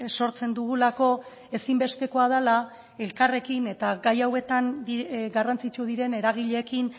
sortzen dugulako ezinbestekoa dela elkarrekin eta gai hauetan garrantzitsu diren eragileekin